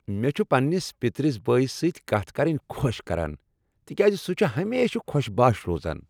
مےٚ چھ پننس پترس بٲیس سۭتۍ کتھ کرٕنۍ خۄش کران تکیاز سہ چھ ہمیشہ خوش بشاش روزان۔